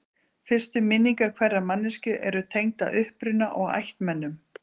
fyrstu minningar hverrar manneskju eru tengdar uppruna og ættmennum